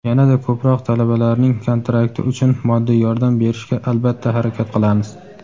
yana-da ko‘proq talabalarning kontrakti uchun moddiy yordam berishga albatta harakat qilamiz.